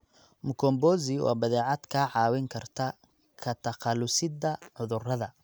Mkombozi waa badeecad kaa caawin karta ka takhalusidda cudurrada.